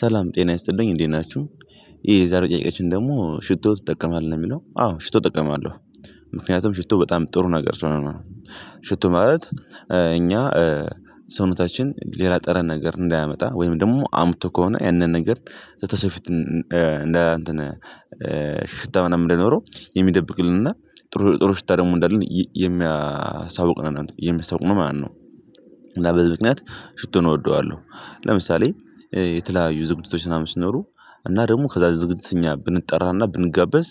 ሰላም ጤና ይስጥልኝ እንዴት ናችሁ የዛሬው ጥያቄአችን ደግሞ ሽቶ ትጠቀማለህ ነው የሚለው? አዎ ሽቶ እጠቀማለሁ ምክንያቱም ሽቶ በጣም ጥሩ ነገር ስለሆነ ነው ሽቶ ማለት እኛ ሰውነታችን ሌላ ጠረን ነገር እንዳያመጣ ወይም ደግሞ አምጥቶ ከሆነ ያንን ነገር በሰው ፊት እንዳ እንትን ሽሽታ ሽታ ምናምን እንዳይኖረው የሚደብቅልን እና ጥሩ ጥሩ ሽታ ደግሞ እንዳለን የሚያሳውቅ ነው የሚሳውቅ ማለት ነው እና በዚህ ምክንያት ሽቶን እወደዋለሁ ለምሳሌ የተለያዩ ዝግጅቶች ምናምን ሲኖሩ እና ደግሞ ከዛ ዝግጅት እኛ ብንጠራና ብንጋበዝ